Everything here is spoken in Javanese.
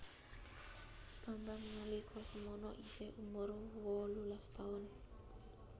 Bambang nalika semono iseh umur wolulas tahun